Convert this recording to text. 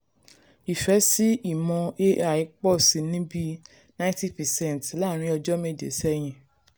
ìfẹ́ sí ìmọ̀ ai pọ̀ sí ní bíi 90 percent láàárín ọjọ́ méje sẹ́yìn.